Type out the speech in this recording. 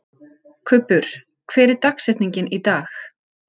Kubbur, hver er dagsetningin í dag?